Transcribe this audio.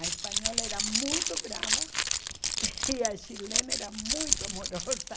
A espanhola era muito brava (rir enquanto fala) - transcrição normal - e a chilena era muito amorosa.